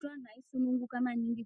Ta anu eisununguka maningi